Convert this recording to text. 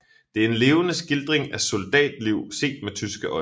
Det er en levende skildring af soldatliv set med tyske øjne